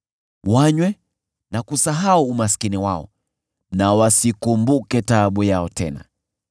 Wanywe na kusahau umaskini wao na wasikumbuke taabu yao tena.